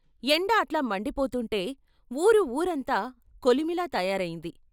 ఎండ అట్లా మండిపోతుంటే వూరు వూరంతా కొలిమిలా తయారయింది.